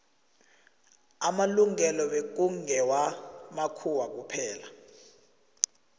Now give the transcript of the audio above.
amalungelo bekngewa makhuwa kuphela